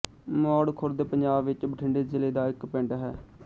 ਮੌੜ ਖੁਰਦ ਪੰਜਾਬ ਵਿੱਚ ਬਠਿੰਡੇ ਜ਼ਿਲ੍ਹੇ ਦਾ ਇੱਕ ਪਿੰਡ ਹੈ